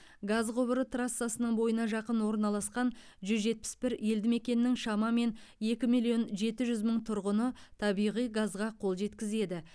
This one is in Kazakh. газ құбыры трассасының бойына жақын орналасқан жүз жетпіс бір елді мекеннің шамамен екі миллион жеті жүз мың тұрғыны табиғи газға қол жеткізеді